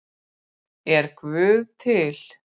Er guð til